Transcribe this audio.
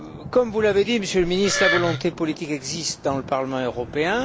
Comme vous l'avez dit, Monsieur le Ministre, la volonté politique existe dans le Parlement européen.